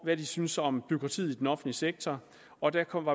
hvad de syntes om bureaukratiet i den offentlige sektor og der kom